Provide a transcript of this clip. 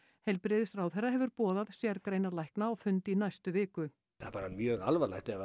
heilbrigðisráðherra hefur boðað sérgreinalækna á fund í næstu viku það er bara mjög alvarlegt ef